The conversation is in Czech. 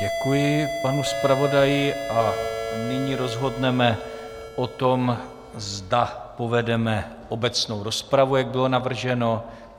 Děkuji panu zpravodaji a nyní rozhodneme o tom, zda povedeme obecnou rozpravu, jak bylo navrženo.